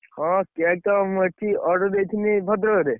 ହଁ, cake ତ ମୁଁ ଏଠି order ଦେଇଥିଲି ଭଦ୍ରକରେ।